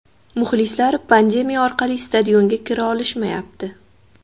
Muxlislar pandemiya orqali stadionga kira olishmayapti.